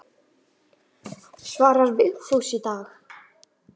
Svarar Vigfús í dag?